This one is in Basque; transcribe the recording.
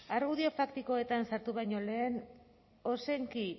argudio faktikoetan sartu baino lehen ozenki